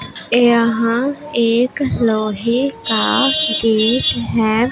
यहां एक लोहे का गेट है।